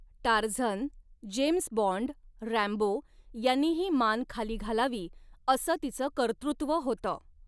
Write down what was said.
Tarzan, James Bond, Rambo यांनीही मान खाली घालावी असं तिच कर्तृत्व होत.